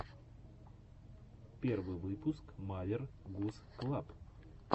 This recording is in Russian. первый выпуск мавер гуз клаб